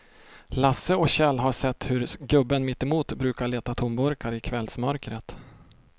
Lasse och Kjell har sett hur gubben mittemot brukar leta tomburkar i kvällsmörkret.